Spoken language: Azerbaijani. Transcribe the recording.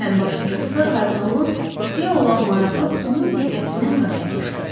Ən başlıcası da kardinalın qutuya olan marağı onun diqqətindən qaçmamışdı.